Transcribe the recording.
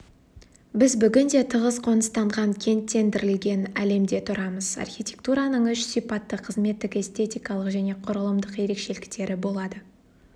біз бүгінде тығыз қоныстанған кенттендірілген әлемде тұрамыз архитектураның үш сипатты қызметтік эстетикалық және құрылымдық ерекшеліктері болады